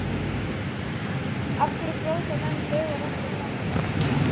Af hverja brjóta menn lög og reglur samfélagsins?